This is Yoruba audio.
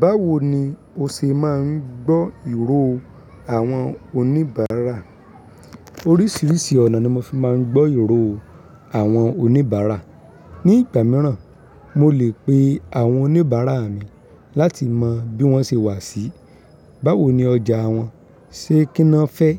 Báwo ni o ṣe máa ń gbọ́ ìró àwọn oníbàárà? Orísìírísìí ọ̀nà ni mo fi máa ń gbọ́ ìró àwọn oníbàárà. Ni ìgbà míràn, mo lè pe àwọn oníbàárà mi láti mọ bí wọ́n ṣe wà síi, báwo ni ọjà wọn, ṣe kíni won fẹ́